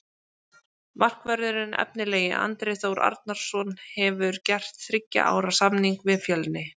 Markvörðurinn efnilegi Andri Þór Arnarson hefur gert þriggja ára samning við Fjölni.